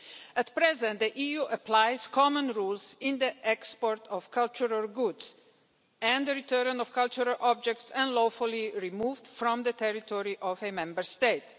At present, the EU applies common rules on the export of cultural goods and the return of cultural objects unlawfully removed from the territory of a Member State.